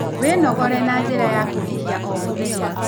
Wĩnogore na njĩra ya kũhihia o mũthenya